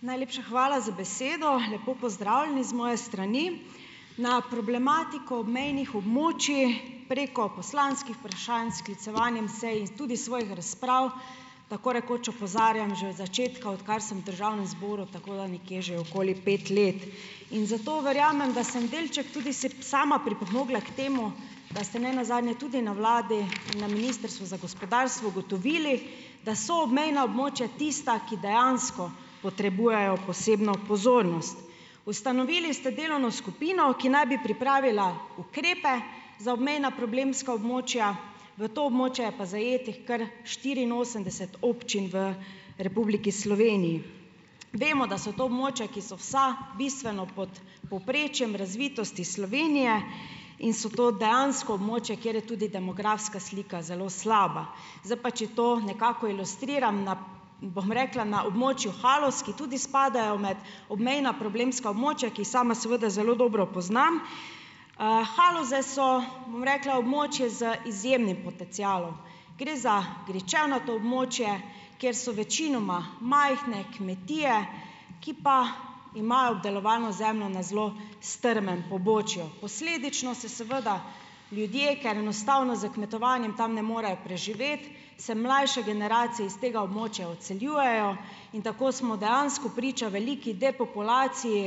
Najlepša hvala za besedo. Lepo pozdravljeni z moje strani. Ne problematiko obmejnih območij preko poslanskih vprašanj, sklicevanjem sej in tudi s svojih razprav tako rekoč opozarjam že od začetka, odkar sem v državnem zboru, tako da nekje že okoli pet let. In zato verjamem, da sem delček tudi sama pripomogla k temu, da ste nenazadnje tudi na vladi, na Ministrstvu za gospodarstvo ugotovili, da so obmejna območja tista, ki dejansko potrebujejo posebno pozornost. Ustanovili ste delovno skupino, ki naj bi pripravila ukrepe za obmejna problemska območja, v to območje je pa zajetih kar štiriinosemdeset občin v Republiki Sloveniji. Vemo, da so to območja, ki so vsa bistveno pod povprečjem razvitosti Slovenije, in so to dejansko območja, kjer je tudi demografska slika zelo slaba. Z pa, če to nekako ilustriram na, bom rekla, na območju Haloz, ki tudi spadajo med obmejna problemska območja, ki jih sama seveda zelo dobro poznam. Haloze so, bom rekla, območje z izjemnim potencialom. Gre za gričevnato območje, kjer so večinoma majhne kmetije, ki pa imajo obdelovalno zemljo na zelo strmem pobočju. Posledično se seveda ljudje, ker enostavno s kmetovanjem tam ne morejo preživeti, se mlajše generacije iz tega območja odseljujejo in tako smo dejansko priča veliki depopulaciji,